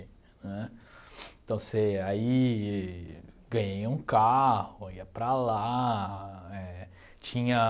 Né então se aí ganhei um carro ia para lá éh tinha